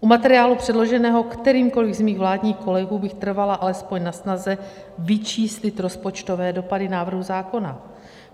U materiálu předloženého kterýmkoliv z mých vládních kolegů bych trvala alespoň na snaze vyčíslit rozpočtové dopady návrhu zákona.